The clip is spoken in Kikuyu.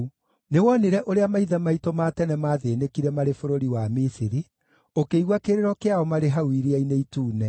“Nĩwonire ũrĩa maithe maitũ ma tene maathĩĩnĩkire marĩ bũrũri wa Misiri; ũkĩigua kĩrĩro kĩao marĩ hau Iria-inĩ Itune.